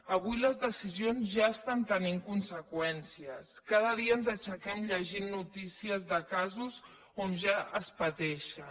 avui les decisions ja estan tenint conseqüències cada dia ens aixequem llegint notícies de casos que ja es pateixen